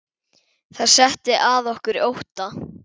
Það setti að okkur ótta.